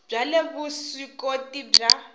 bya le vusw ikoti bya